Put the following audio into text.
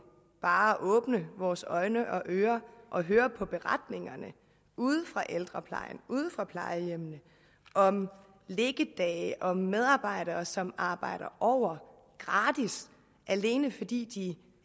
bare at åbne vores øjne og ører og høre på beretningerne ude fra ældreplejen ude fra plejehjemmene om liggedage og medarbejdere som arbejder over gratis alene fordi de